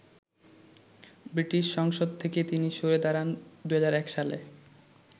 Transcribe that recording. British সংসদ থেকে তিনি সরে দাঁড়ান ২০০১ সালে।